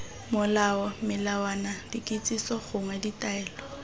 molao melawana dikitsiso gongwe ditaelo